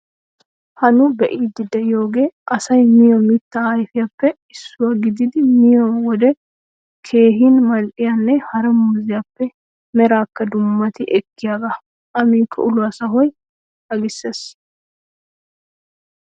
Ha nu be'iiddi de'iyogee asay miyo mittaa ayfiyappe issuwa gididi miyo wode keehin mal"iyanne hara muuziyappe. meraakka dummati ekkiyagaa. A miikko uluwa sahuwa agissees.